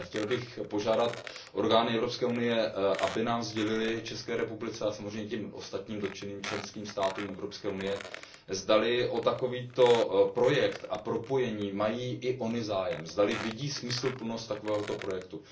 Ale chtěl bych požádat orgány Evropské unie, aby České republice a samozřejmě těm ostatním dotčeným členským státům EU sdělily, zdali o takovýto projekt a propojení mají i ony zájem, zdali vidí smysluplnost takového projektu.